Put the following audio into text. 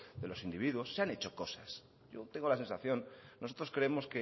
de los individuos se han hecho cosas yo tengo la sensación nosotros creemos